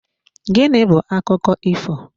Gịnị bu akụkọ ifo?